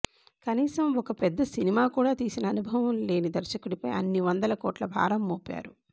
కనీసం ఒక పెద్ద సినిమా కూడా తీసిన అనుభవం లేని దర్శకుడిపై అన్ని వందల కోట్ల భారం మోపారు